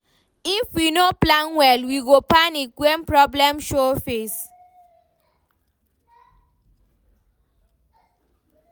If we no plan well, we go panic wen problem show face.